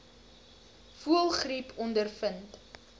voëlgriep ondervind